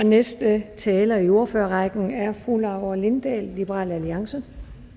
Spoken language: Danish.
næste taler i ordførerrækken er fru laura lindahl liberal alliance